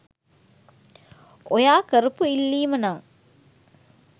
ඔයා කරපු ඉල්ලීම නම්